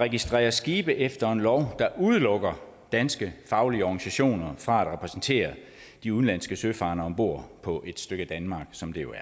registrerer skibe efter en lov der udelukker danske faglige organisationer fra at repræsentere de udenlandske søfarende om bord på et stykke danmark som det jo er